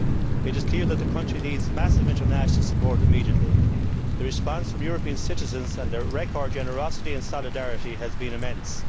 It is clear that the country needs massive international support immediately. The response from European citizens and their record generosity and solidarity have been immense.